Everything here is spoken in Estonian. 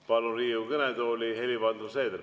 Palun Riigikogu kõnetooli Helir-Valdor Seederi.